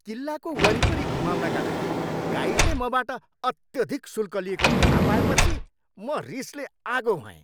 किल्लाको वरिपरि घुमाउनका लागि गाइडले मबाट अत्यधिक शुल्क लिएको थाहा पाएपछि म रिसले आगो भएँ।